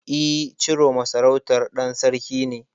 E, Ciroma sarautar ɗan Sarki ce.